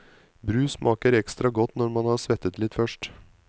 Brus smaker ekstra godt når man har svettet litt først.